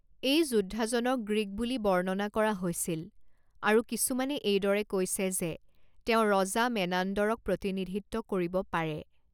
এই যোদ্ধাজনক গ্ৰীক বুলি বৰ্ণনা কৰা হৈছিল, আৰু কিছুমানে এইদৰে কৈছে যে তেওঁ ৰজা মেনান্দৰক প্ৰতিনিধিত্ব কৰিব পাৰে।